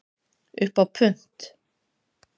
Upp á punt